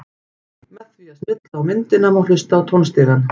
Með því að smella á myndina má hlusta á tónstigann.